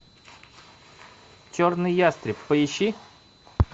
черный ястреб поищи